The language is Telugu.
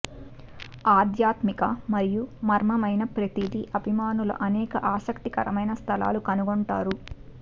ఆధ్యాత్మిక మరియు మర్మమైన ప్రతిదీ అభిమానులు అనేక ఆసక్తికరమైన స్థలాలను కనుగొంటారు